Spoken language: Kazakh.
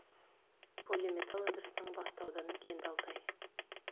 полиметалл өндірісінің басты ауданы кенді алтай